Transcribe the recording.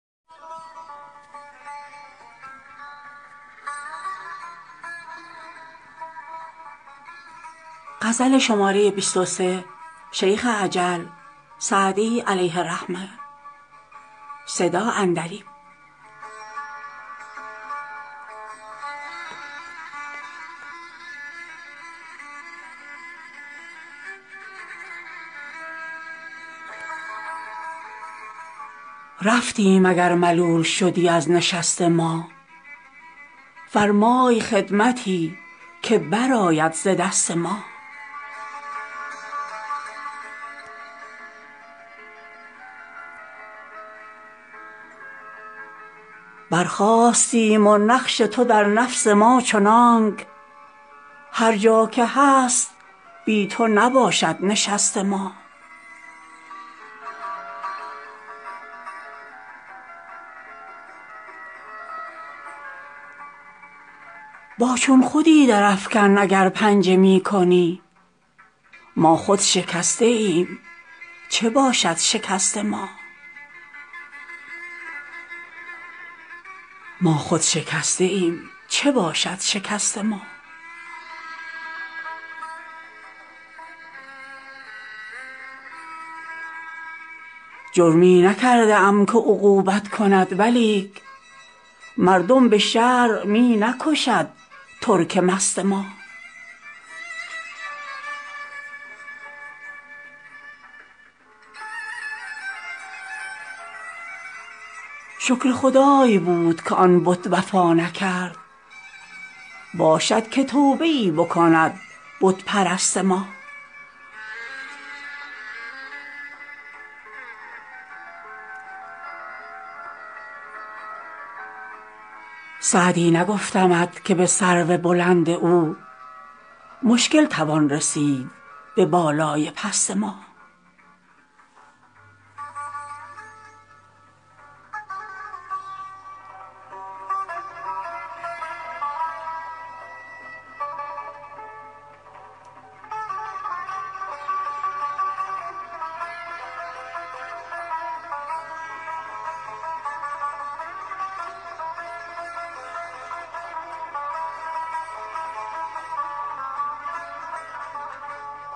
رفتیم اگر ملول شدی از نشست ما فرمای خدمتی که برآید ز دست ما برخاستیم و نقش تو در نفس ما چنانک هر جا که هست بی تو نباشد نشست ما با چون خودی درافکن اگر پنجه می کنی ما خود شکسته ایم چه باشد شکست ما جرمی نکرده ام که عقوبت کند ولیک مردم به شرع می نکشد ترک مست ما شکر خدای بود که آن بت وفا نکرد باشد که توبه ای بکند بت پرست ما سعدی نگفتمت که به سرو بلند او مشکل توان رسید به بالای پست ما